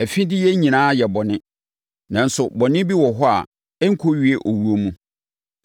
Afideyɛ nyinaa yɛ bɔne, nanso bɔne bi wɔ hɔ a ɛnkɔwie owuo mu.